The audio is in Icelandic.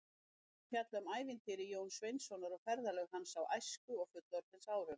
Bækurnar fjalla um ævintýri Jóns Sveinssonar og ferðalög hans, bæði á æsku- og fullorðinsárum.